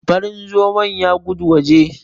Farin zomon ya gudu waje.